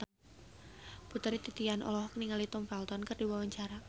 Putri Titian olohok ningali Tom Felton keur diwawancara